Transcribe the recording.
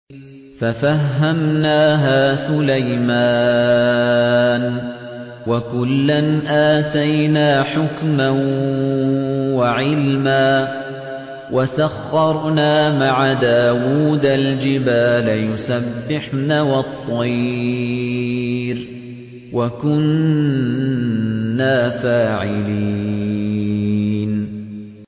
فَفَهَّمْنَاهَا سُلَيْمَانَ ۚ وَكُلًّا آتَيْنَا حُكْمًا وَعِلْمًا ۚ وَسَخَّرْنَا مَعَ دَاوُودَ الْجِبَالَ يُسَبِّحْنَ وَالطَّيْرَ ۚ وَكُنَّا فَاعِلِينَ